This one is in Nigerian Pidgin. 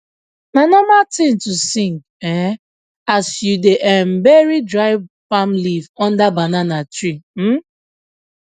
na normal tin to sing um as u da um bury dry palm leave under banana tree um